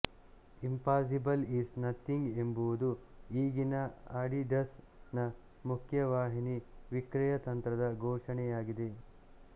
impossible is nothing ಎಂಬುದು ಈಗಿನ Adidas ನ ಮುಖ್ಯವಾಹಿನಿ ವಿಕ್ರಯತಂತ್ರದ ಘೋಷಣೆಯಾಗಿದೆ